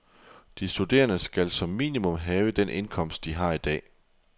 De studerende skal som minimum have den indkomst, de har i dag.